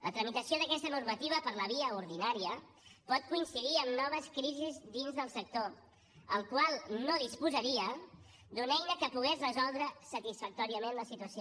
la tramitació d’aquesta normativa per la via ordinària pot coincidir amb noves crisis dins del sector el qual no disposaria d’una eina que pogués resoldre satisfactòriament la situació